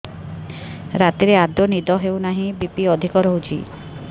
ରାତିରେ ଆଦୌ ନିଦ ହେଉ ନାହିଁ ବି.ପି ଅଧିକ ରହୁଛି